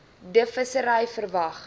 d visserye verwag